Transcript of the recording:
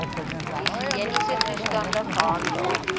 higiëniese toestande gehandhaaf